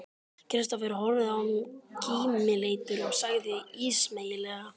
Kristófer horfði á mig kímileitur og sagði ísmeygilega